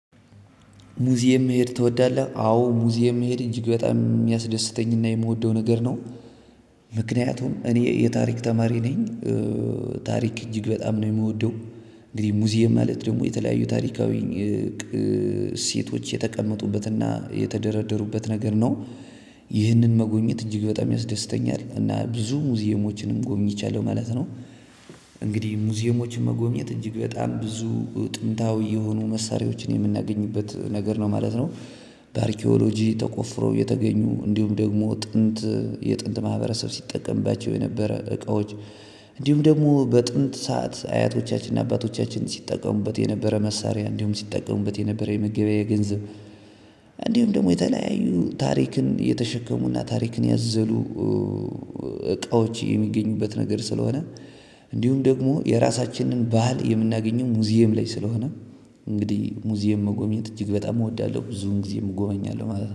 ሙዚየም መሄድ ትወዳለህ? አዎ ሙዚየም መሄድ እጅግ በጣም የሚያስደስተኝና የምወደው ነገር ነው። እኔ የታሪክ ተማሪ ነኝ። ታሪክ እጅግ በጣም ነው የምወደው። እንግዲህ ሙዚየም ማለት ደግሞ የተለያዩ ታሪካዊ የቅ እሴቶች የተቀመጡበትና የተደረደሩበት ነገር ነው። ይህንን መጎብኘት እጅግ በጣም ያስደስተኛል እና ብዙ ሙዚየሞችንም ጎበኝቻለሁ ማለት ነው። ሙዚየሞችን መጎብኘት እጅግ በጣም ብዙ ጥምታዊ የሆኑ መሳሪያዎችን የምናገኝበት ነገር ነው ማለት ነው። በአርኪኦሎጂ ተቆፍሮ የተገኙ እንዲሁም ደግሞ ጥንት የጥንት ማህበረሰብ ሲጠቀምባቸው የነበረ እቃዎች። እንዲሁም ደግሞ በጥንት ሰዓት አያቶቻችንና አባቶቻችን ሲጠቀሙበት የነበረ መሳሪያ እንዲሁም ሲጠቀሙበት የነበረ የመገበያ ገንዘብ። እንዲሁም ደሞ የተለያዩ ታሪክን የተሸከሙና ታሪክን ያዘሉ እቃዎች የሚገኙበት ነገር ስለሆነ። እንዲሁም ደግሞ የራሳችንን ባህል የምናገኘው ሙዚየም ላይ ስለሆነ። እንግዲህ ሙዚየም መጎብኘት እጅግ በጣም እወዳለሁ ብዙን ጊዜም እጎበኛለሁ ማለት ነው